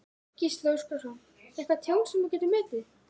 Gísli Óskarsson: Eitthvað tjón sem þú getur metið?